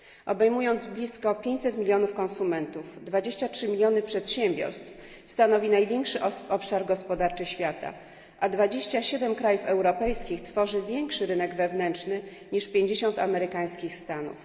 Obejmując blisko 500 milionów konsumentów, 23 miliony przedsiębiorstw, stanowi on największy obszar gospodarczy świata, a 27 krajów europejskich tworzy większy rynek wewnętrzny niż 50 amerykańskich stanów.